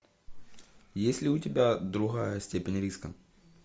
есть ли у тебя другая степень риска